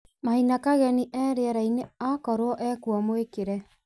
maina kageni e rĩerainĩ akorwo ekuo mwĩkĩre